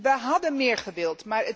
We hadden meer gewild.